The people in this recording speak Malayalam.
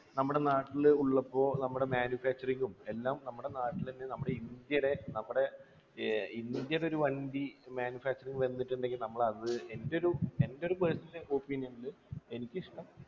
നമ്മുടെ നാട്ടിൾ ഉള്ളപ്പോ നമ്മുടെ manufacture ഉം എല്ലാം നമ്മുടെ നാട്ടിലെന്നെ നമ്മുടെ ഇന്ത്യയിലെ നമ്മുടെ ഏർ ഇന്ത്യടെ ഒരു വണ്ടി manufacture വന്നിട്ടുണ്ടെങ്കി നമ്മളത് എൻ്റെ ഒരു എൻ്റെ ഒരു personal opinion നില് എനിക്കിഷ്ടം